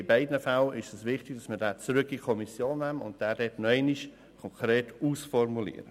In beiden Fällen ist es wichtig, dass man den Artikel zurück in die Kommission nimmt und dort nochmals konkret ausformuliert.